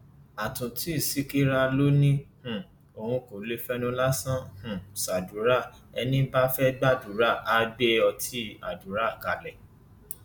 àtúntí ṣìkìrà ló ní um òun kò lè fẹnu lásán um ṣàdúrà ẹni bá fẹẹ gbàdúrà àá gbé ọtí àdúrà kalẹ